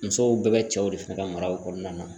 Musow bɛɛ bɛ cɛw de fɛ ka mara o kɔnɔna na